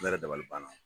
Ne yɛrɛ dabali banna